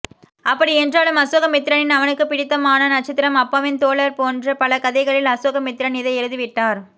அப்படி என்றாலும் அசோகமித்திரனின் அவனுக்குப்பிடித்தமான நட்சத்திரம் அப்பாவின் தோழர் போன்ற பல கதைகளில் அசோகமித்திரன் இதை எழுதிவிட்டார்